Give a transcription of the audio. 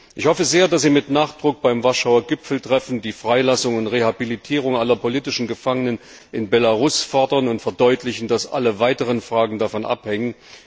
Ich hoffe sehr, dass wir mit Nachdruck beim Warschauer Gipfeltreffen die Freilassung und Rehabilitierung aller politischen Gefangenen in Belarus fordern und verdeutlichen, dass alle weiteren Fragen davon abhängen.